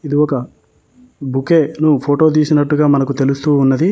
ఇది ఒక బొకే ను ఫోటో తీసినట్టుగా మనకు తెలుస్తూ ఉన్నది.